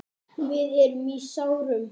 Við erum í sárum.